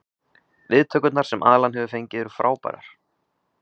Viðtökurnar sem Alan hefur fengið eru frábærar.